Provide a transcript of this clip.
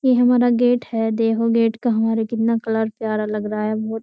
ये हमारा गेट है देखो गेट का हमारे कितना कलर प्यारा लग रहा है। बहुत --